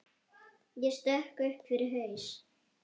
Ég sökk upp fyrir haus.